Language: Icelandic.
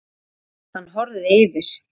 Hann horfir yfir